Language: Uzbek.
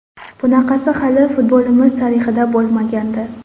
Bunaqasi hali futbolimiz tarixida bo‘lmagandi.